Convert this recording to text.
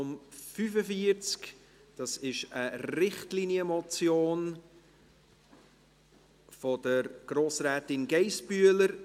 Es handelt sich um eine Richtlinienmotion von Grossrätin Geissbühler.